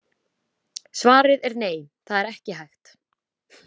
Svarið er nei, það er ekki hægt.